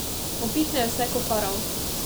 Upihnejo se ko farau.